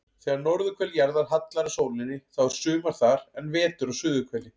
Þegar norðurhvel jarðar hallar að sólinni þá er sumar þar en vetur á suðurhveli.